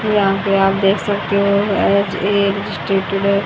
यहां पे आप देख सकते हो एज ए